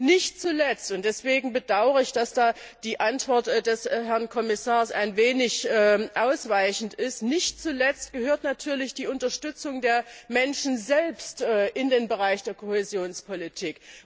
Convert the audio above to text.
Nicht zuletzt und deswegen bedaure ich, dass da die Antwort des Herrn Kommissars ein wenig ausweichend ist gehört natürlich die Unterstützung der Menschen selbst in den Bereich der Kohäsionspolitik.